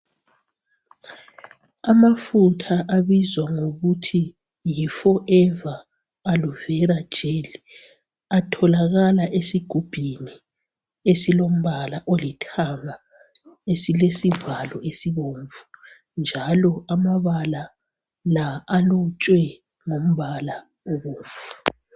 Amafutha abizwa ngokuthi yi "forever aloe vera gel" atholakala esigubhini esilombala olithanga esilesivalo esibomvu njalo amabala la alotshwe ngombala obomvu.